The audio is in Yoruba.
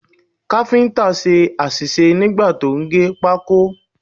Káfíǹtà ṣe àṣìṣe nígbà tí ó ń gé pákó.